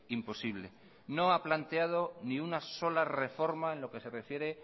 imposible no ha planteado ni una sola reforma en lo que se refiere